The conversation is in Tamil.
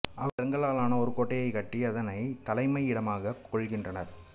அவர்கள் செங்கல்லாலான ஒரு கோட்டையைக் கட்டி அதனைத் தலைமையிடமாகக் கொள்கின்றனர்